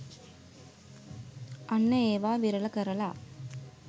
අන්න ඒවා විරල කරලා